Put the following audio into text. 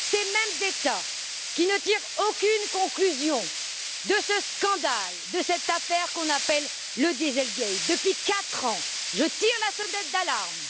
Ces mêmes États qui ne tirent aucune conclusion de ce scandale, de cette affaire qu'on appelle le Dieselgate. Depuis quatre ans, je tire la sonnette d'alarme.